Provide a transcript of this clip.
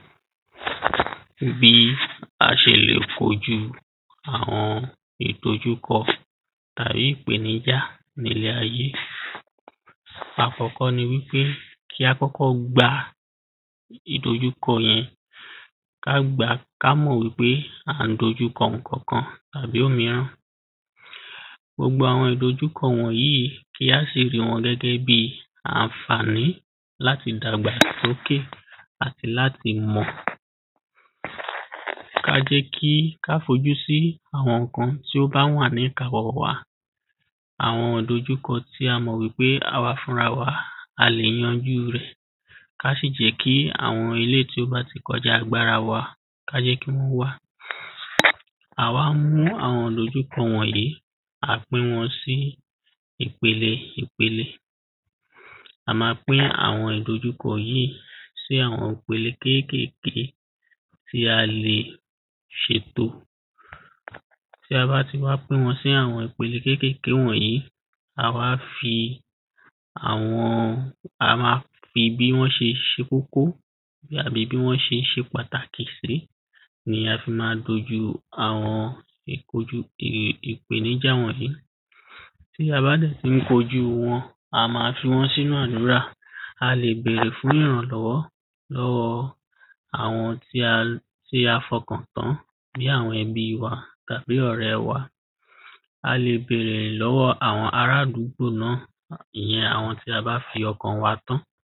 bí a ṣe lè kojú àwọn ìdojúkọ tàbí ìpèníjà ní ilé ayé àkọ́kọ́ ni wípé kí á kọ́kọ́ gbá ìdójúkọ yẹn ká gba, ká mọ̀ wípé à ń dojú kọ ǹkankan tàbí òmíràn gbogbo àwọn ìdójúkọ wọ̀nyí, kí á sì rí wọn gẹ́gẹ́bíi ànfàní láti dàgbàsókè àti láti mọ̀ ká jẹ́ kí, ká fojú sì ǹkan tó bá ní ìkawọ́ wa àwọn ìdójúkọ tí a mọ̀ wí pé àwa fúnra wa, a lè yanjú rẹ̀, ká sì jẹ́ kí àwọn eléyìí tí ó bá tí kọjá agbára wa, ká jẹ́ kí wọ́n wà à wá mú àwọn ìdójúkọ wọ̀nyí, à pín wọn sí ìpele ìpele a ma pín àwọn ìdójúkọ yìí sí àwọn ìpele kékèké tí a lè ṣètò bí a bá ti wá pín wọ́n sí àwọn ìpele kékèké wọ̀nyí, à wá fi àwọn, a ma fi bi wọ́n ṣe ṣe kókó àbí bí wọ́ ṣe ṣe pàtàkì sí ni a fi ma dojú àwọn ìpojú ìpéníjà wọ̀nyí bí a bá dẹ̀ tí n kojú wọn, a ma fi wọ́n sínu àdúrà, a lè bèrè fún ìrànlọ́wọ́ lọ́wọ́ àwọn tí a tí a fọkàn tán bí àwọn ẹbí tàbí ọ̀rẹ́ wa. a lè bèrè lọ́wọ́ àwọn arádúgbò náà, ìyẹn àwọn tí a bá fi ọkàn tán.